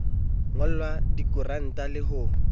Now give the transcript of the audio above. nyollwa kadiranta le ha ho